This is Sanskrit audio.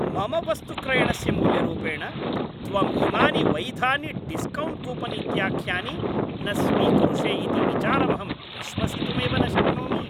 मम वस्तुक्रयणस्य मूल्यरूपेण त्वम् इमानि वैधानि डिस्कौण्ट् कूपन् इत्याख्यानि न स्वीकुरुषे इति विचारमहं विश्वसितुमेव न शक्नोमि।